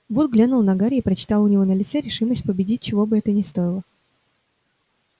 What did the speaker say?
вуд глянул на гарри и прочитал у него в лице решимость победить чего бы это ни стоило